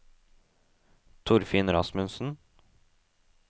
Torfinn Rasmussen